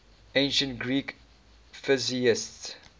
ancient greek physicists